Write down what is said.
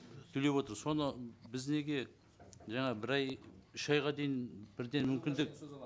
төлеп отыр соны біз неге жаңа бір ай үш айға дейін бірден мүмкіндік